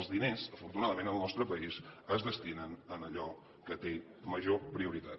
els diners afortunadament al nostre país es destinen a allò que té major prioritat